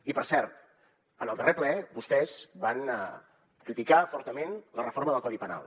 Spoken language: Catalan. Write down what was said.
i per cert en el darrer ple vostès van criticar fortament la reforma del codi penal